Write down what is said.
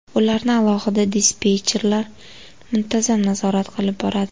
Ularni alohida dispetcherlar muntazam nazorat qilib boradi.